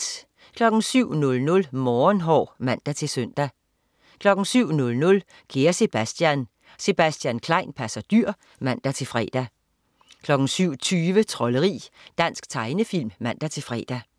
07.00 Morgenhår (man-søn) 07.00 Kære Sebastian. Sebastian Klein passer dyr (man-fre) 07.20 Trolderi. Dansk tegnefilm (man-fre)